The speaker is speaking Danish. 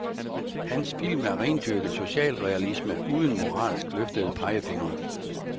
Hans film er rendyrket socialrealisme uden moralsk løftede pegefingre.